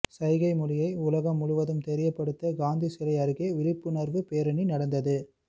சைகை மொழியை உலகம் முழுவதும் தெரியப்படுத்த காந்தி சிலை அருகே விழிப்புணர்வு பேரணி நடந்தது